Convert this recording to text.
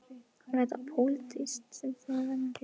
Er, var það pólitík sem að þarna réði ríkjum?